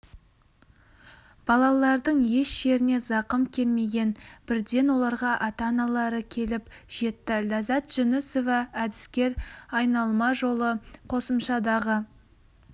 балалардың еш жеріне зақым келмеген бірден оларға ата-аналары келіп жетті ләззат жүнісова әдіскер айналма жолы қосымшадағы